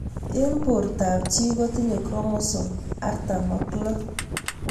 Eng' portab chii kotinye chromosome artam ak loo